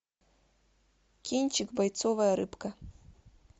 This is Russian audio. кинчик бойцовая рыбка